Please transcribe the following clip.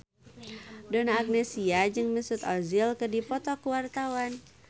Donna Agnesia jeung Mesut Ozil keur dipoto ku wartawan